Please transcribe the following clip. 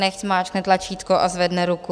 Nechť zmáčkne tlačítko a zvedne ruku.